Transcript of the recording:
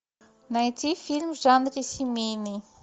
найти фильм в жанре семейный